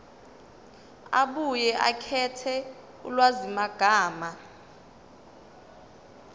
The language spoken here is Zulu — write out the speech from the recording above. abuye akhethe ulwazimagama